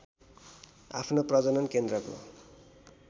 आफ्नो प्रजनन केन्द्रको